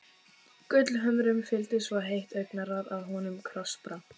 Gullhömrunum fylgdi svo heitt augnaráð að honum krossbrá.